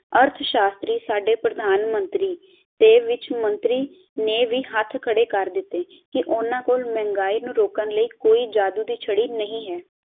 ਅਰਦ ਸ਼ਾਸ਼ਤਰੀ ਸਾਡੇ ਪ੍ਰਦਾਨ ਮੰਤਰੀ ਤੇ ਵਿੱਚ ਮੰਤਰੀ ਨੇ ਵੀ ਹੱਥ ਖੜੇ ਕਰ ਦਿਤੇ ਕਿ ਓਹਨਾ ਕੋਲ ਮਹਿੰਗਾਈ ਨੂੰ ਰੋਕਣ ਲਈ ਕੋਈ ਜਾਦੂ ਦੀ ਛੜੀ ਨਹੀਂ ਹੈ